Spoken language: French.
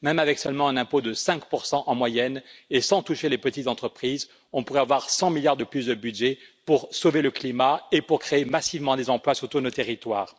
Même avec un impôt de 5 seulement en moyenne, et sans toucher les petites entreprises, on pourrait avoir 100 milliards de plus de budget pour sauver le climat et pour créer massivement des emplois sur tous nos territoires.